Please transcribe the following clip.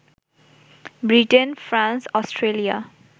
Britain, France, Australia